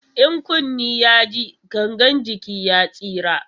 In kunni ya ji, gangan jiki ya tsira.